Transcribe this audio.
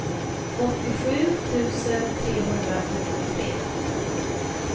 åttiosju tusen trehundrafemtiotre